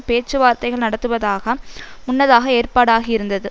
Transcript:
பேச்சுவார்த்தைகள் நடத்துவதாக முன்னதாக ஏற்பாடு ஆகியிருந்தது